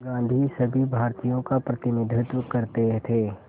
गांधी सभी भारतीयों का प्रतिनिधित्व करते थे